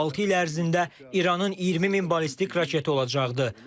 Altı il ərzində İranın 20 min ballistik raketi olacaqdı.